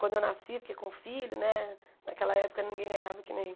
Quando eu nasci, porque com filho né, naquela época ninguém ganhava que nem